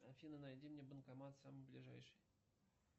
афина найди мне банкомат самый ближайший